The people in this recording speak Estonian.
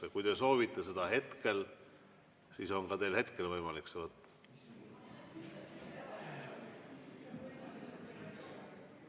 Aga kui te soovite seda hetkel, siis on teil ka hetkel võimalik seda võtta.